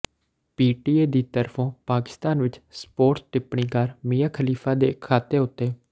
PTA ਦੀ ਤਰਫੋਂ ਪਾਕਿਸਤਾਨ ਵਿੱਚ ਸਪੋਰਟਸ ਟਿੱਪਣੀਕਾਰ ਮੀਆਂ ਖਲੀਫਾ ਦੇ ਖਾਤੇ ਉੱਤੇ